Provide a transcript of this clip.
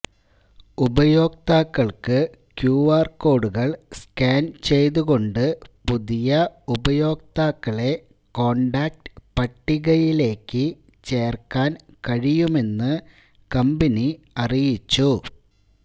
ഉപയോക്താക്കൾക്ക് ക്യുആർ കോഡുകൾ സ്കാൻ ചെയ്തുകൊണ്ട് പുതിയ ഉപയോക്താക്കളെ കോൺടാക്റ്റ് പട്ടികയിലേക്ക് ചേർക്കാൻ കഴിയുമെന്ന് കമ്പനി അറിയിച്ചു